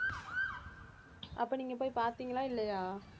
அப்போ நீங்க போய் பார்த்தீங்களா இல்லையா